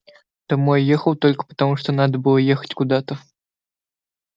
домой ехал только потому что надо было ехать куда-то